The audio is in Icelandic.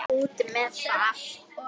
Út með það!